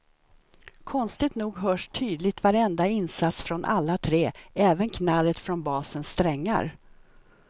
Konstigt nog hörs tydligt varenda insats från alla tre, även knarret från basens strängar.